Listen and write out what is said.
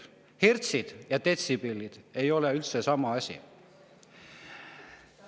Hertsid ja detsibellid ei ole üldse sama asi.